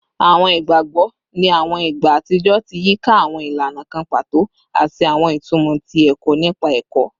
Awọn igbagbọ ni awọn igba atijọ ti yika awọn ilana kan pato ati awọn itumọ ti ẹkọ nipa ẹkọ